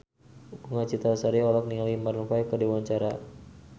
Bunga Citra Lestari olohok ningali Maroon 5 keur diwawancara